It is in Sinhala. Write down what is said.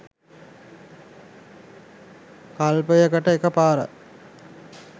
කල්පයකට එකපාරයි.